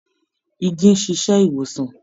Igi ń ṣíṣe ìwòsàn